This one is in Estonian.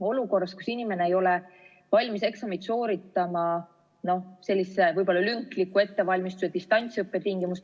Praegu ei ole inimene valmis eksamit sooritama sellise võib-olla lünkliku ettevalmistuse, distantsõppe tõttu.